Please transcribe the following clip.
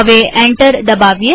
હવે એન્ટર દબાવીએ